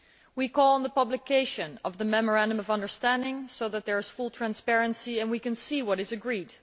We call on the publication of the Memorandum of Understanding so that there is full transparency and we can see what is agreed.